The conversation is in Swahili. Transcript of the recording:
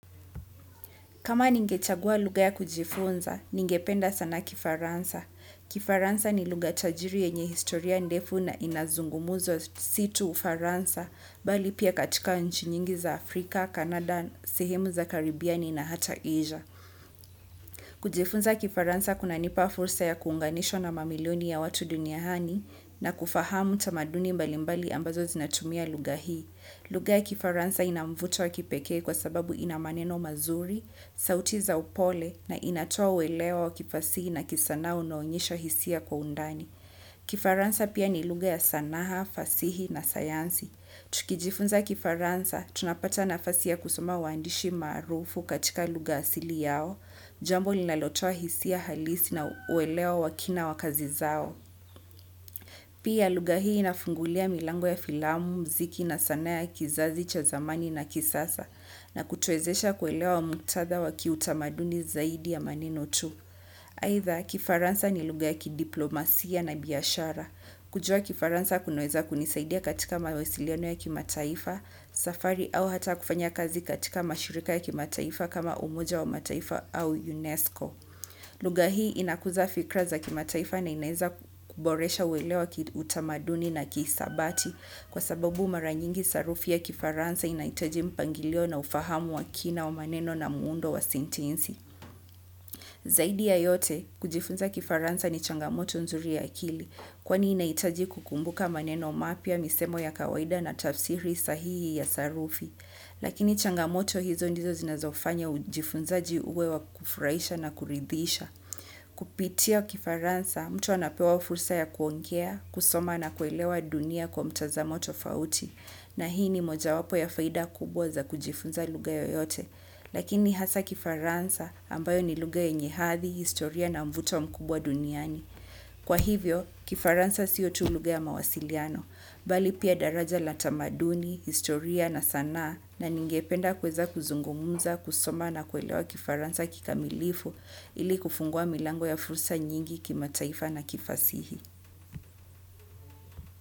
Kama ningechagua luga ya kujifunza, ningependa sana kifaransa. Kifaransa ni luga tajiri yenye historia ndefu na inazungumuzwa situ ufaransa, bali pia katika nchi nyingi za Afrika, Kanada, Sehimu za Karibiani na hata Asia. Kujifunza kifaransa kuna nipa fursa ya kuunganishwa na mamilioni ya watu dunia hani na kufahamu tamaduni mbalimbali ambazo zinatumia luga hii. Luga ya kifaransa inamvuto wa kipekee kwa sababu inamaneno mazuri, sauti za upole na inatoa uwelewo wa kifasihi na kisanaa unoonyesha hisia kwa undani. Kifaransa pia ni luga ya sanaha, fasihi na sayansi. Tukijifunza kifaransa, tunapata na fasi ya kusoma waandishi maarufu katika luga asili yao, jambo linalotoa hisia halisi na uwelewa wakina wa kazi zao. Pia luga hii inafungulia milango ya filamu, mziki na sanaa ya kizazi cha zamani na kisasa na kutuezesha kuelewa mktatha wa kiutamaduni zaidi ya maneno tu. Haitha, kifaransa ni luga ya kidiplomasia na biyashara. Kujua kifaransa kuneweza kunisaidia katika mawesiliono ya kimataifa, safari au hata kufanya kazi katika mashirika ya kimataifa kama umoja wa mataifa au UNESCO. Luga hii inakuza fikra za kimataifa na inaeza kuboresha uwelewa wa kiutamaduni na kiisabati kwa sababu maranyingi sarufi ya kifaransa inaitaji mpangilio na ufahamu wa kina wa maneno na muundo wa sentensi. Zaidi ya yote, kujifunza kifaransa ni changamoto nzuri ya kili, kwani inaitaji kukumbuka maneno mapia misemo ya kawaida na tafsiri sahihi ya sarufi. Lakini changamoto hizo ndizo zinazofanya ujifunzaji uwe wa kufuraisha na kuridhisha. Kupitia kifaransa, mtu anapewa fursa ya kuongea, kusoma na kuelewa dunia kwa mtazamoto fauti. Na hii ni moja wapo ya faida kubwa za kujifunza luga yoyote, lakini hasa kifaransa ambayo ni luga yenye hathi, historia na mvuto mkubwa duniani. Kwa hivyo, kifaransa siyo tu luga ya mawasiliano, bali pia daraja la tamaduni, historia na sanaa na ningependa kweza kuzungumuza, kusoma na kuelewa kifaransa kikamilifu ili kufungua milango ya fursa nyingi kimataifa na kifasihi.